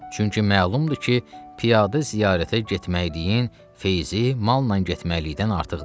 Çünki məlumdur ki, piyadə ziyarətə getməliyin feyzi malnan getməliydən artıqdır.